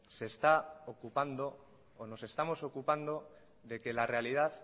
se está ocupando nos estamos ocupando de que la realidad